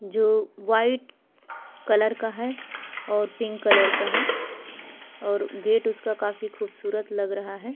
जो white colour का है और पिंक कलर का है और गेट उसका काफी खूबसूरत लग रहा है।